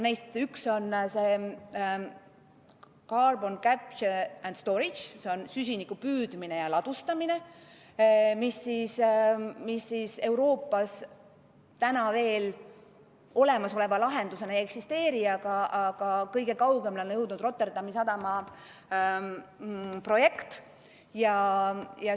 Neist üks on carbon capture and storage, s.o süsinikdioksiidi sidumine ja ladustamine, mida Euroopas täna veel olemasoleva lahendusena ei eksisteeri, kõige kaugemale on jõudnud Rotterdami sadama projekt.